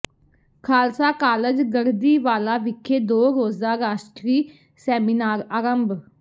Khalsa college Garhdiwala ਵਿਖੇ ਦੋ ਰੋਜ਼ਾ ਰਾਸ਼ਟਰੀ ਸੈਮੀਨਾਰ ਆਰੰਭ